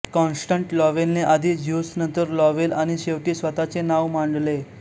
Constance लॉवेलने आधी Zeus नंतर लॉवेल आणि शेवटी स्वतःचे नाव मांडले